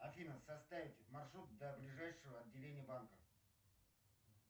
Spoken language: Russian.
афина составить маршрут до ближайшего отделения банка